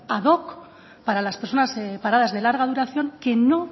ad hoc para las personas paradas de larga duración que no